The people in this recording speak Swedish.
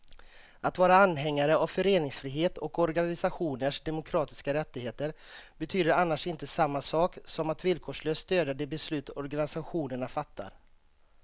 Att vara anhängare av föreningsfrihet och organisationers demokratiska rättigheter betyder annars inte samma sak som att villkorslöst stödja de beslut organisationerna fattar.